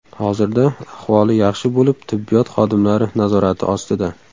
Hozirda ahvoli yaxshi bo‘lib tibbiyot xodimlari nazorati ostida.